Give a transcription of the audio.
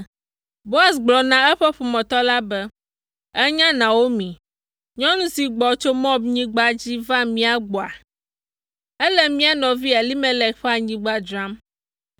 Boaz gblɔ na eƒe ƒometɔ la be, “Ènya Naomi, nyɔnu si gbɔ tso Moabnyigba dzi va mía gbɔa? Ele mía nɔvi Elimelek ƒe anyigba dzram,